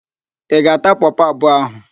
Ị ga-ata pọpọ abụọ ahụ?